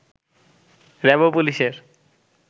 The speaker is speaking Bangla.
র‍্যাব ও পুলিশের